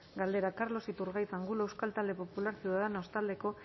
galdera carlos iturgaiz angulo euskal talde popularra ciudadanos taldeko